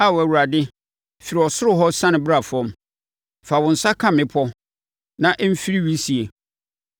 Ao Awurade, firi ɔsoro hɔ na siane bra fam; fa wo nsa ka mmepɔ, na ɛmfiri wisie.